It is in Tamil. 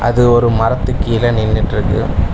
இது ஒரு மரத்துக் கீழ நின்னுட்ருக்கு.